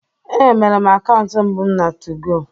Emere m akaụntụ mbụ m na 2go